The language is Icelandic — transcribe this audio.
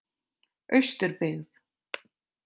Austurbyggð